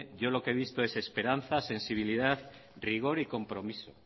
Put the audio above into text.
yo lo que he visto es esperanza sensibilidad rigor y compromiso